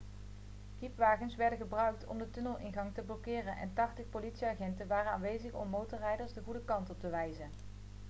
kiepwagens werden gebruikt om de tunnelingang te blokkeren en 80 politieagenten waren aanwezig om motorrijders de goede kant op te wijzen